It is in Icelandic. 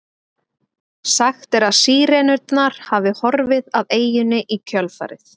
Sagt er að Sírenurnar hafi horfið af eyjunni í kjölfarið.